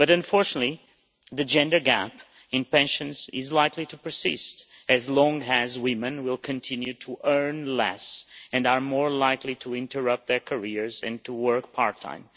But, unfortunately, the gender gap in pensions is likely to persist as long as women continue to earn less and are more likely to interrupt their careers and to work part-time.